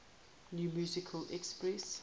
new musical express